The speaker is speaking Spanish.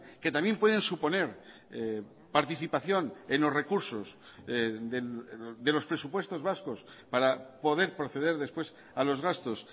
que también pueden suponer participación en los recursos de los presupuestos vascos para poder proceder después a los gastos